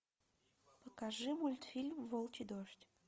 покажи мультфильм волчий дождь